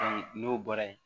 n'o bɔra yen